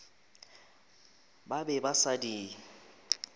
ba be ba sa di